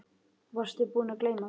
Varstu búinn að gleyma því?